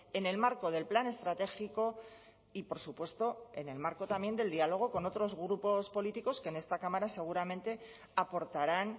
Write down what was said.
en el marco del plan estratégico y por supuesto en el marco también del diálogo con otros grupos políticos que en esta cámara seguramente aportarán